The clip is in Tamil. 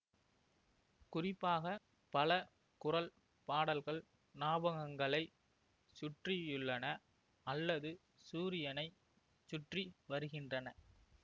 குறிப்பாக பல குரல் பாடல்கள் ஞாபகங்களை சுற்றியுள்ளன அல்லது சூரியனை சுற்றி வருகின்றன